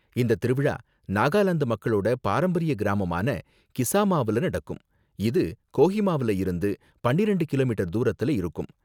இந்த திருவிழா நாகாலாந்து மக்களோட பாரம்பரிய கிராமமான கிசாமாவுல நடக்கும், இது கோஹிமாவுல இருந்து பன்னிரெண்டு கிமீ தூரத்துல இருக்கும்